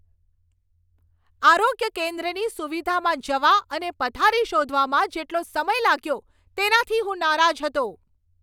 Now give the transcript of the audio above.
આરોગ્ય કેન્દ્રની સુવિધામાં જવા અને પથારી શોધવામાં જેટલો સમય લાગ્યો, તેનાથી હું નારાજ હતો.